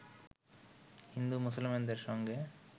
হিন্দু-মুসলমানদের সঙ্গে